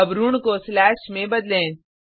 अब ऋण को स्लेश में बदलें